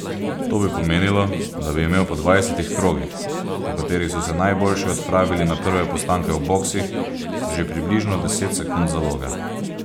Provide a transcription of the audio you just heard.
To bi pomenilo, da bi imel po dvajsetih krogih, po katerih so se najboljši odpravili na prve postanke v boksih, že približno deset sekund zaloge.